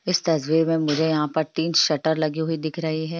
इस तस्वीर में मुझे यहाँ पर तीन शटर लगी हुई दिख रही हैं।